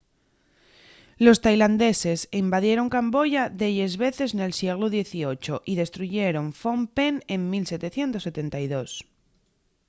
los tailandeses invadieron camboya delles veces nel sieglu xviii y destruyeron phnom penh en 1772